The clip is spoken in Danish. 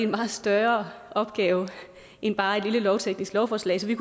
meget større opgave end bare et lille lovteknisk lovforslag så vi